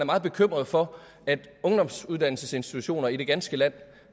meget bekymret for at ungdomsuddannelsesinstitutioner i det ganske land